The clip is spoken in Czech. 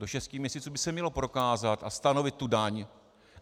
Do šesti měsíců by se mělo prokázat a stanovit tu daň.